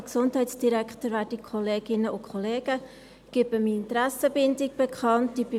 Ich gebe meine Interessenbindung bekannt: